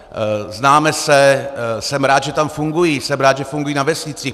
Známe se, jsem rád, že tam fungují, jsem rád, že fungují na vesnicích.